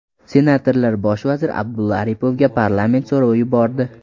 Senatorlar bosh vazir Abdulla Aripovga parlament so‘rovi yubordi.